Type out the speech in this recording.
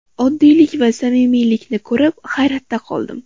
Oddiylik va samimiylikni ko‘rib, hayratda qoldim.